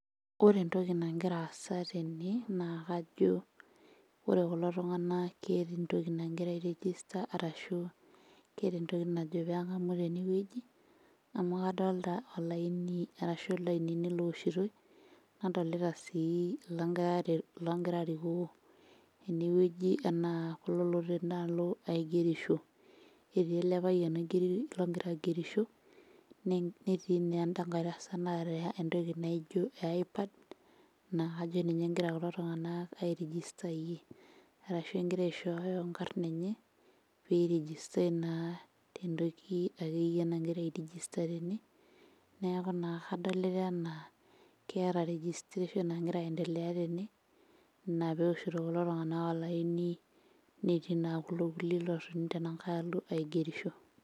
Ore entoki nagira aasa tene naa kajo ore kulo tung'anak keeta entoki nagira ae register arashu keeta entoki najo peng'amu tenewueji amu kadolta olaini arashu ilainini looshitoi nadolita sii ilongira aret ilongira arikoo enewueji enaa kulo lotii tenaalo aigerisho ketii ele payian oigeri logira aigerisho netiii naa enda nkae tasat naata entoki naijio e i-pad naa kajo ninye engira kulo tung'anak ae rijistayie arashu engira aishooyo inkarn enye pirijistae naa tentoki akeyie nagira airijista tene neeku naa kadolita enaa keeta registration nagira aendelea tene ina pewoshito kulo tung'anak olaini netii naa kulo kulie lotoni tenankae alo aigerisho.